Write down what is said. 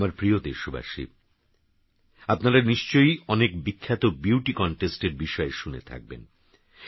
আমারপ্রিয়দেশবাসী আপনারানিশ্চয়ইঅনেকবিখ্যাতবিউটিকনটেস্টএরবিষয়েশুনেথাকবেন